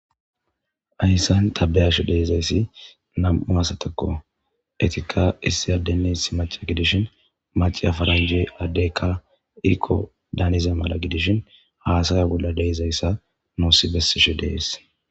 Haysan ta be'ishe dizaysi nam'u asatako etika issi adene issi mac'a gidishin mac'iya faranje adeyka Iko daniza mala gidishin hasaya bola de'izaysa nusi besishe de'es.